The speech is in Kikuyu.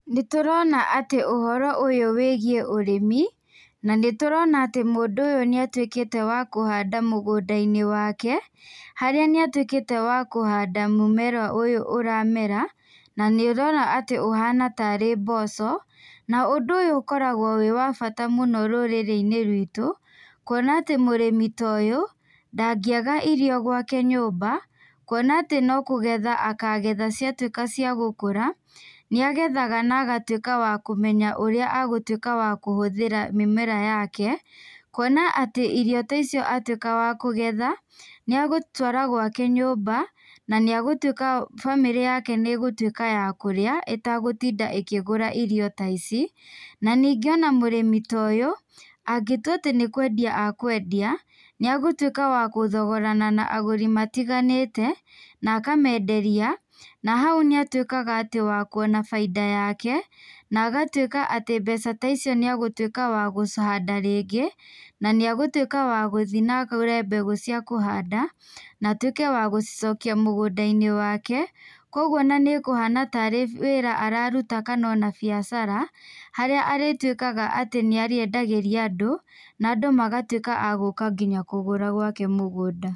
Nĩtũrona atĩ ũhoro ũyũ wĩgiĩ ũrĩmi na nĩtũrona atĩ mũndũ ũyũ nĩatuĩkĩte wa kũhanda mũgũnda-inĩ wake harĩa atuĩkĩte wa kũhanda mũmera ũyũ ũramera na nĩ ũrona ũhana tarĩ mboco na ũndũ ũyũ ũkoragwo wĩ wabata mũno rũrĩ-inĩ ruitũ kuona mũrĩmi ta ũyũ ndangiaga irio gwake nyũmba kuona atĩ no kũgetha akagetha ciatuĩka ciagũkũra. Nĩagethaga na agatuĩka wa kũmenya ũrĩa agũtuĩka wa kũhũthĩra mĩmera yake, kuona atĩ irio ta icio arĩkia kũgetha nĩ agũtwara gwake nyũmba na nĩegũtwĩka, bamĩrĩ yake nĩ ĩgũtwĩka ya kũrĩa ĩtagũtinda ĩkĩgũra irio ta ici na ningĩ mũrĩmi ta ũyũ angĩtua atĩ nĩkwendia ekwendia, nĩ agũtwĩka wa gũthogorana na agũri matiganĩte, na akamenderia na hau nĩatwĩka atĩ nĩekuna bainda yake, na agatuĩka atĩ mbeca ta icio atĩ nĩekũhanda rĩngĩ na nĩegũtwĩka wa gũthi na agũre mbegũ cia kũhanda na atwĩke wa gũcokia mũgũnda-inĩ wake kũoguo nĩ ekũhana tarĩ wĩra araruta ona kana biacara harĩa arĩtuĩkaga atĩ nĩarĩendagĩria andũ na andũ magatuĩka agũka nginya kũgũra gwake mũgũnda.